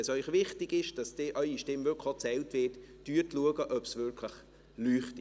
Wenn es Ihnen wichtig ist, dass Ihre Stimme wirklich auch gezählt wird, schauen Sie, ob es wirklich leuchtet.